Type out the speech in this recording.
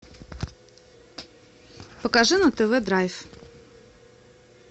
покажи нам тв драйв